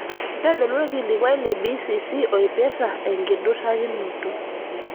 ntodolu orkilikuai le b.c.c oipirta enkidurakinoto